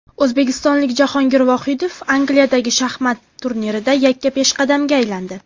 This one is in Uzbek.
O‘zbekistonlik Jahongir Vohidov Angliyadagi shaxmat turnirida yakka peshqadamga aylandi.